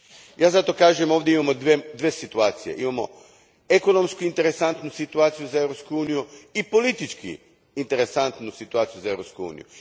Ja zato kažem da ovdje imamo dvije situacije imamo ekonomski interesantnu situaciju za Europsku uniju i politički interesantnu situaciju za Europsku uniju.